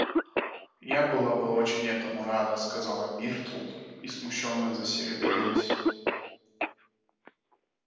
я была бы очень этому рада сказала миртл и смущённо засеребрилась